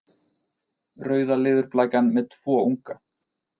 Rauða leðurblakan með tvo unga.